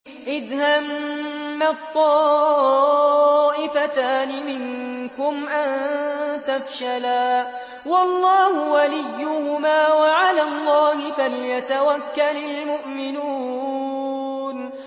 إِذْ هَمَّت طَّائِفَتَانِ مِنكُمْ أَن تَفْشَلَا وَاللَّهُ وَلِيُّهُمَا ۗ وَعَلَى اللَّهِ فَلْيَتَوَكَّلِ الْمُؤْمِنُونَ